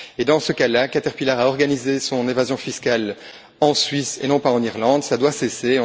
Dans ce cas là, Caterpillar a organisé son évasion fiscale en Suisse, et non pas en Irlande, ça doit cesser.